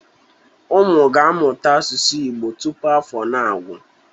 Ụmụ ga-amụta asụsụ Igbo tupu afọ a anagwụ.